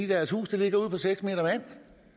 deres huse ligger ude på seks